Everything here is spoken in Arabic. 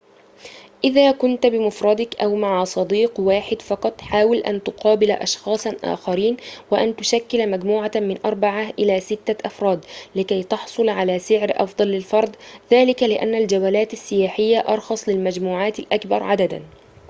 إذا كنت بمفردك أو مع صديق واحد فقط حاول أن تقابل أشخاصاً آخرين وأن تشكل مجموعة من أربعة إلى ستة أفراد لكي تحصل على سعر أفضل للفرد ذلك لأن الجولات السياحية أرخص للمجموعات الأكبر عدداً